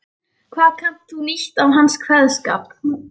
Hvað kannt þú nýtt af hans kveðskap.